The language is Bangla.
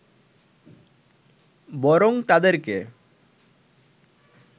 বরং তাদেরকে